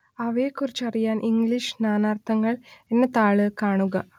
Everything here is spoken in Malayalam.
അവയെക്കുറിച്ചറിയാൻ ഇംഗ്ലീഷ് നാനാർത്ഥങ്ങൾ എന്ന താൾ കാണുക